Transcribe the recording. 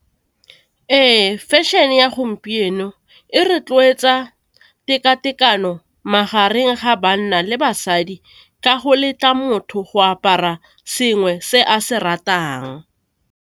Ee, fashion e ya gompieno e rotloetsa teka tekano magareng ga banna le basadi, ka go letla motho go apara sengwe se a se ratang.